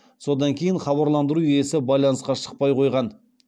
содан кейін хабарландыру иесі байланысқа шықпай қойған